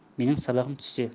менің сабағым түсте